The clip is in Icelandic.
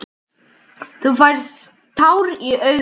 Þú færð tár í augun.